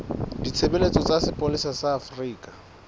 ditshebeletso tsa sepolesa sa afrika